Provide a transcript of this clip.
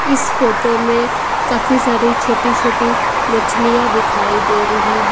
इस फोटो में काफी सारी छोटी-छोटी मछलियां दिखाई दे रही है।